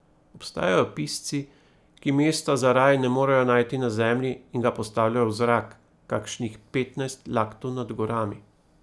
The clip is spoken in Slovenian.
Obstajajo pisci, ki mesta za raj ne morejo najti na zemlji in ga postavljajo v zrak, kakšnih petnajst laktov nad gorami.